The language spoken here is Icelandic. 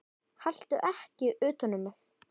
Haltu ekki utan um mig.